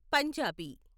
Punjabi